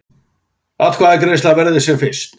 Atkvæðagreiðslan verði sem fyrst